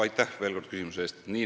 Aitäh veel kord küsimuse eest!